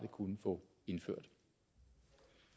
kunne få indført